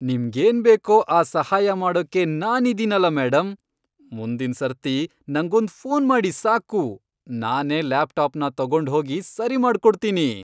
ನಿಮ್ಗೇನ್ ಬೇಕೋ ಆ ಸಹಾಯ ಮಾಡೋಕ್ಕೆ ನಾನಿದೀನಲ ಮೇಡಮ್. ಮುಂದಿನ್ ಸರ್ತಿ ನಂಗೊಂದ್ ಫೋನ್ ಮಾಡಿ ಸಾಕು, ನಾನೇ ಲ್ಯಾಪ್ಟಾಪ್ನ ತೊಗೊಂಡ್ಹೋಗಿ ಸರಿಮಾಡ್ಕೊಡ್ತೀನಿ.